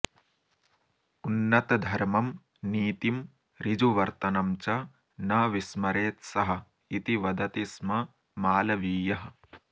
उन्नतधर्मं नीतिम् ॠजुवर्तनं च न विस्मरेत् सः इति वदति स्म मालवीयः